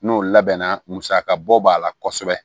N'o labɛnna musaka bɔ b'a la kosɛbɛ